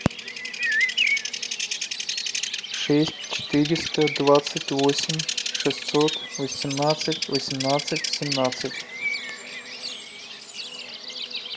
шесть четыреста двадцать восемь шестьсот восемнадцать восемнадцать семнадцать